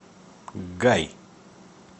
гай